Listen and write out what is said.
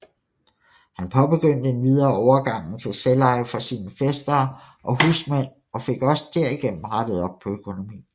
Han påbegyndte endvidere overgangen til selveje for sin fæstere og husmænd og fik også derigennem rettet op på økonomien